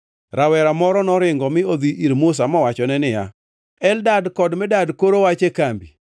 Rawera moro noringo mi odhi ir Musa mowachone niya, “Eldad kod Medad koro wach e kambi.”